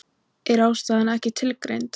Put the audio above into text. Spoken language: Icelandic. Er ástæðan ekki tilgreind